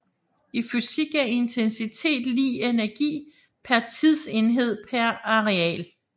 I fysik er intensitet lig energi per tidsenhed per areal